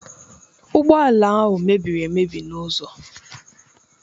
ụgbọ ala ahụ mebiri emebi n'ụzọ.